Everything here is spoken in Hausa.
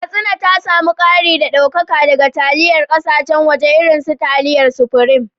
Katsina ta samu kari da daukaka daga taliyar kasashen waje irin su taliyar Supreme